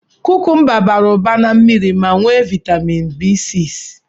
Kukumba bara ụba na mmiri ma nwee viatamịn B6.